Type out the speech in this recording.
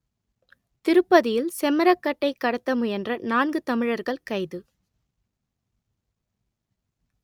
திருப்பதியில் செம்மரக்கட்டை கடத்த முயன்ற நான்கு தமிழர்கள் கைது